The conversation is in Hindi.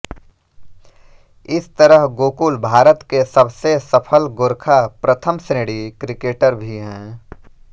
इस तरह गोकुल भारत के सबसे सफल गोरखा प्रथम श्रेणी क्रिकेटर भी हैं